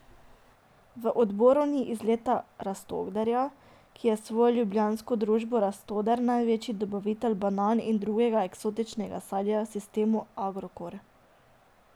V odboru ni Izeta Rastoderja, ki je s svojo ljubljansko družbo Rastoder največji dobavitelj banan in drugega eksotičnega sadja sistemu Agrokor.